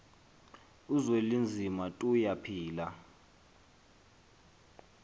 uzwelinzima tuya phila